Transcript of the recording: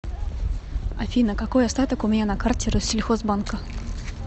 афина какой остаток у меня на карте россельхозбанка